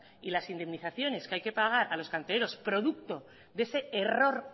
y las indemnizaciones que hay que pagar a los cantereros producto de ese error